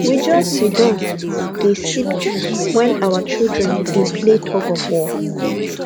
we just see down dey sip juice while our children dey play tug of war